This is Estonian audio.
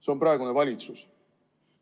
See on praegune valitsus.